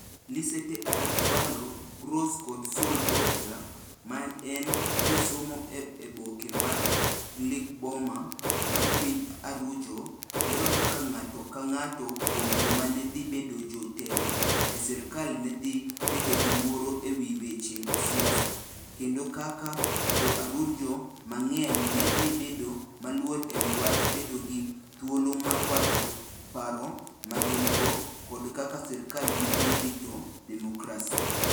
Lisette ArĂ©valo Gross kod Sol Borja, ma en jasomo e oboke mar Gkillboma mar piny Arujo, lero kaka ng'ato ka ng'ato kuom joma ne dhi bedo jotelo e sirkal ne dhi bedo gi luoro e wi weche siasa, kendo kaka Jo - Arujo mang'eny ne dhi bedo maluor e wi wach bedo gi thuolo mar wacho paro ma gin - go, koda kaka sirkal ne dhi rito demokrasi.